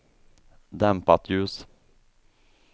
dämpat ljus